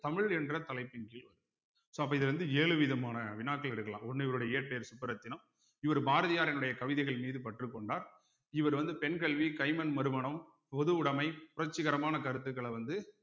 தமிழ் என்ற தலைப்பின் கீழ் வருது so அப்போ இது வந்து ஏழு விதமான வினாக்கள் எடுக்கலாம் ஒண்ணு இவருடைய இயற்பெயர் சுபரத்தினம் இவர் பாரதியாரினுடைய கவிதைகள் மீது பற்று கொண்டார் இவர் வந்து பெண் கல்வி கைம்பெண் மறுமணம் பொதுவுடைமை புரட்சிகரமான கருத்துக்கள வந்து